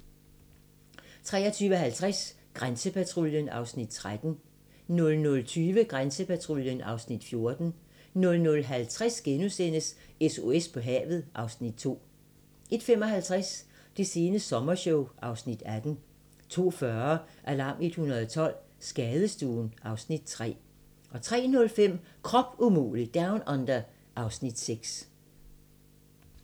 23:50: Grænsepatruljen (Afs. 13) 00:20: Grænsepatruljen (Afs. 14) 00:50: SOS på havet (Afs. 2)* 01:55: Det sene sommershow (Afs. 18) 02:40: Alarm 112 - Skadestuen (Afs. 3) 03:05: Krop umulig Down Under (Afs. 6)